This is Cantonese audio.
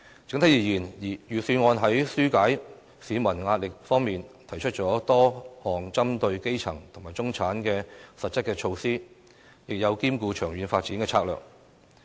整體而言，預算案在紓解市民壓力方面，提出了多項針對基層及中產的實質措施，亦有兼顧長遠發展的策略。